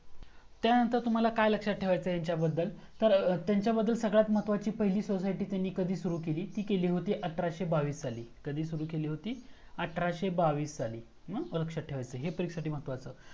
त्यानंतर तुम्हाला काय लक्षात ठेव्याचा आहे यांच्या बद्दल तर त्यांच्या बद्दल सर्वात महत्त्वाचं त्यानी पहिली society कधी सुरू केली? ती केली होती अठराशे बावीस सालि. कधी सुरू केली होती? अठराशे बावीस साली. मग हे लक्षात ठेवायचं. हे परीक्षेसाठी महत्त्वाचं